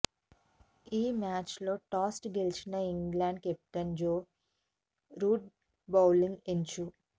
ఈ మ్యాచ్లో టాస్ గెలిచిన England captain Joe Root bowling ఎంచు